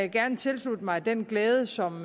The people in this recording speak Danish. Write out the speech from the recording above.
gerne tilslutte mig den glæde som